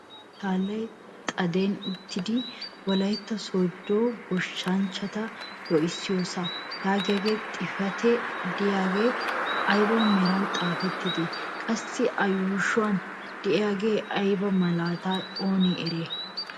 Hagee machchallay xaaden uttiidi "wollaytta sooddo gooshshanchchata loohissiyoosaa" yaagiyaa xifatee de'iyaagee ayba meran xaafettidee? qassi ushshuwaan de'iyaagee ayba malatatee oonee eriyay?